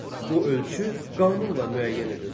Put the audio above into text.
Bu ölçü qanunla müəyyən edilsin.